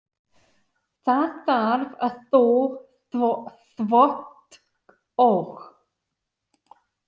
Það þarf að þvo þvott og.